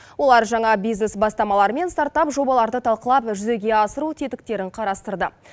олар жаңа бизнес бастамалар мен стартап жобаларды талқылап жүзеге асыру тетіктерін қарастырды